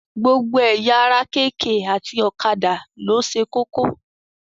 Gbogbo ẹ̀yà ara kk àti ọ̀kadà ló ṣe kókó.